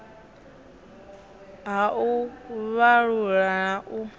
ha u vhalula na u